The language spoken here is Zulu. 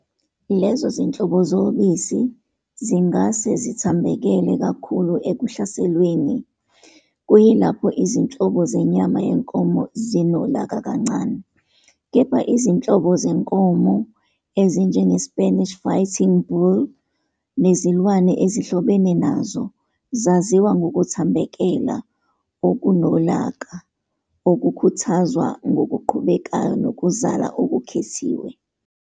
Lezo zinhlobo zobisi zingase zithambekele kakhulu ekuhlaselweni, kuyilapho izinhlobo zenyama yenkomo zinolaka kancane, kepha izinhlobo zenkomo ezinjengeSpanish Fighting Bull nezilwane ezihlobene nazo zaziwa ngokuthambekela okunolaka, okukhuthazwa ngokuqhubekayo ngokuzala okukhethiwe.